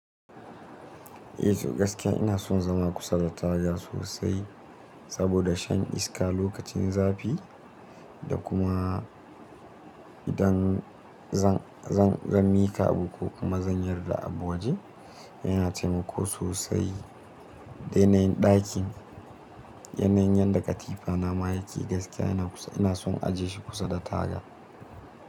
E to gaskiya ina son zama kusa da taga sosai saboda shan iska lokacin zafi da kuma idan zan miƙa abu ko kuma zan yarda abu waje yana taimako sosai. Da yanayin ɗakin yanayin yadda katifa na ma yake gaskiya ina son ajiye shi kusa da taga.